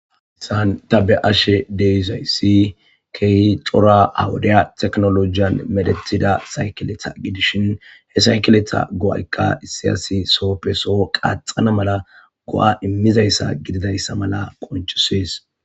Saanta be ashe deisayssi keehi cora hawudeya teknolojiyan medethida saykeletha gidishin he saykeletha go'aykka issiyasi sooppe so qaaxana mala go'a immizayssa gididayssa mala qonchisees.